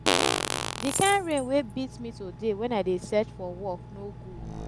the kin rain wey beat me today wen i dey search for work no good